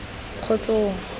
kgotsong